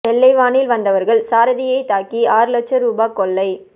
வெள்ளை வானில் வந்தவர்கள் சாரதியை தாக்கி ஆறு லட்சம் ரூபா கொள்ளை